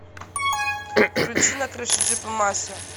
включи на крыше джипа мася